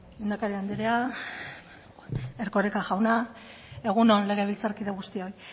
lehendakari andrea erkoreka jauna egun on legebiltzarkide guztioi